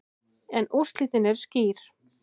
En úrslitin eru skýr.